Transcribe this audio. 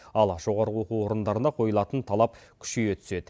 ал жоғары оқу орындарына қойылатын талап күшейе түседі